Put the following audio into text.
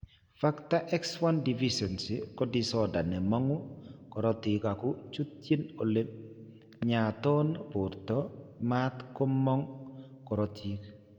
Factor XI deficiency ko disorder ne mang'u korotiik ako chutyin ole ny'aayton borto mat ko mong' korotiik.